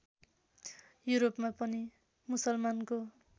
युरोपमा पनि मुसलमानको